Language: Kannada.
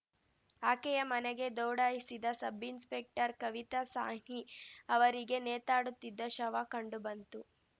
ಆಕೆಯ ಮನೆಗೆ ದೌಡಾಯಿಸಿದ ಸಬ್‌ ಇನ್ಸ್‌ಪೆಕ್ಟರ್‌ ಕವಿತಾ ಸಾಹ್ನಿ ಅವರಿಗೆ ನೇತಾಡುತ್ತಿದ್ದ ಶವ ಕಂಡುಬಂತು